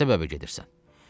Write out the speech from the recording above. Nə səbəbə gedirsən?